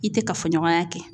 I tɛ kafoɲɔgɔnya kɛ,